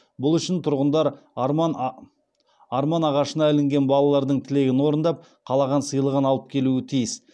бұл үшін тұрғындар арман ағашына ілінген балалардың тілегін орындап қалаған сыйлығын алып келуі тиіс